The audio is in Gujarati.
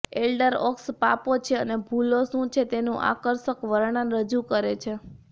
એલ્ડર ઓક્સ પાપો છે અને ભૂલો શું છે તેનું આકર્ષક વર્ણન રજૂ કરે છે